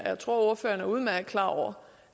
jeg tror at ordføreren er udmærket klar over